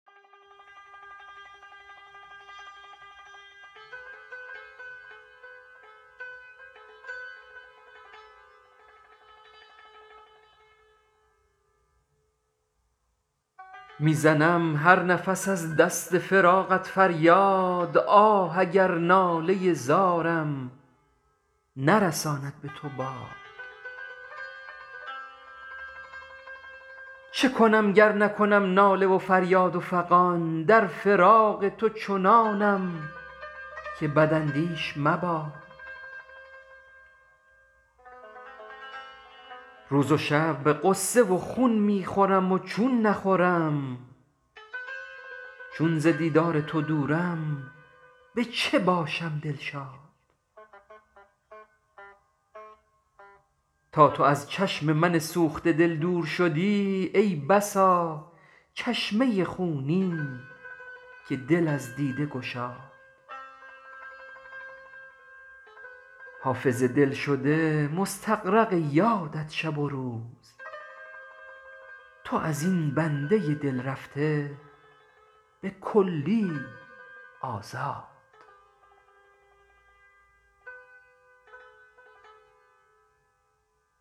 می زنم هر نفس از دست فراقت فریاد آه اگر ناله زارم نرساند به تو باد چه کنم گر نکنم ناله و فریاد و فغان در فراق تو چنانم که بداندیش مباد روز و شب غصه و خون می خورم و چون نخورم چون ز دیدار تو دورم به چه باشم دلشاد تا تو از چشم من سوخته دل دور شدی ای بسا چشمه خونین که دل از دیده گشاد حافظ دلشده مستغرق یادت شب و روز تو از این بنده دل رفته به کلی آزاد